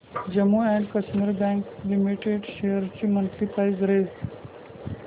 Jammu and Kashmir bank limited shares ची monthly price range